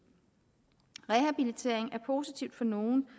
rehabilitering er positivt for nogle